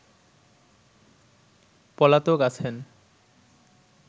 পলাতক আছেন